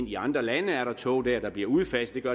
i andre lande er der tog dér der bliver udfaset